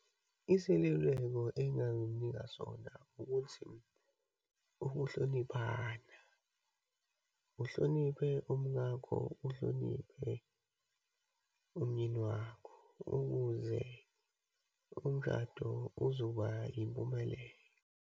Iseluleko engingamnika sona, ukuthi ukuhloniphana. Uhloniphe umkakho, uhloniphe umyeni wakho ukuze umshado uzoba yimpumelelo.